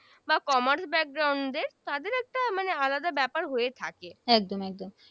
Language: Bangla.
বা Command তাদের একটা আলাদা ব্যাপার হয়ে থাকে